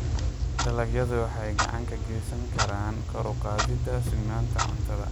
Dalagyadu waxay gacan ka geysan karaan kor u qaadida sugnaanta cuntada.